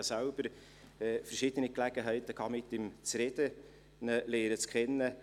Ich hatte selbst verschiedene Gelegenheiten, mit ihm zu sprechen und ihn kennenzulernen.